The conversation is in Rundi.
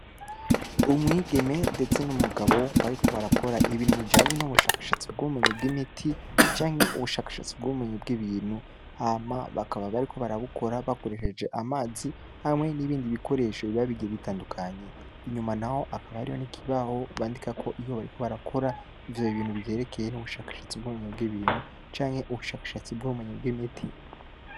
Umwigeme ndetse n'umgabo bariko barakora ibintu bijanye n'ubushakashatsi bw'imiti canke ubushakashatsi bw'ubumenyi bw'ibintu bakaba bario barabukora bakoreesheje amazi hamwe n'ibindi bikoresho biba bigiye bitandukanye. Inyuma naho hakaba hariyo n'ikibaho bandikako ivyo bintu bw'ubumenyi bw'ibintu canke ubushakashatsi bujanye n'ubumenyi bw'imiti.